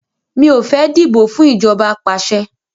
Mi ò fẹ́ dìbò fún ìjọba apàṣẹ